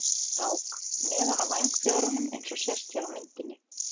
Einkennandi fyrir skúminn er hvít rák neðan á vængfjöðrum eins og sést hér á myndinni.